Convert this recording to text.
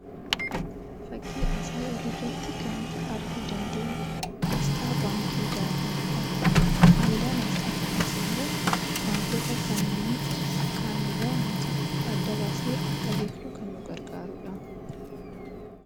Fakkii asii olii irratti kan nuti arguu dandeenyu aasxaa baankii Daashenidha. Faayidaan aasxaa kunis immoo baankota kaanirraa adda baasnee akka beekuu dandeenyuuf kan nu gargaarudha